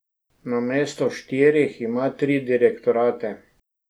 Namesto štirih ima tri direktorate.